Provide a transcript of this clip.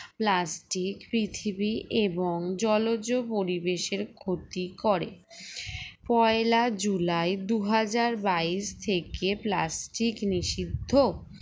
plastic পৃথিবী এবং জলজ পরিবেশের ক্ষতি করে পয়লা জুলাই দুই হাজার বাইশ থেকে plastic নিষিদ্ধ